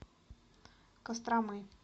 костромы